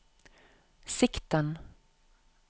sikten